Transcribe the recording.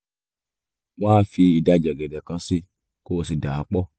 wá fi ìdajì ọ̀gẹ̀dẹ̀ kan sí i kó o sì dà á pọ̀